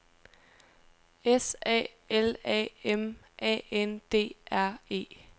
S A L A M A N D R E